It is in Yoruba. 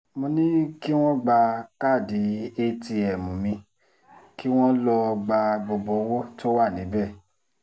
mo ní kí wọ́n gba káàdì atm mi kí wọ́n lọ́ọ́ gba gbogbo owó tó wà níbẹ̀